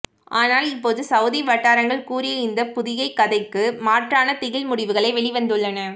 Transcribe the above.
ஆனால் இப்போது சவூதி வட்டாரங்கள் கூறிய இந்த புதியை கதைக்கு மாற்றானதிகில் முடிவுகளே வெளிவந்துள்ளன